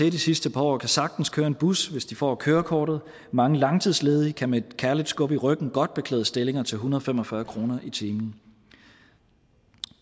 i de sidste par år kan sagtens køre en bus hvis de får kørekortet mange langtidsledige kan med et kærligt skub i ryggen godt beklæde stillingerne til en hundrede og fem og fyrre kroner i timen